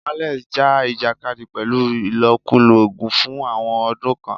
Alex ja ìjàkadì pẹ̀lú ìlòkulò oògùn fún àwọn ọdún kan.